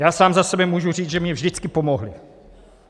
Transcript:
Já sám za sebe můžu říct, že mně vždycky pomohli.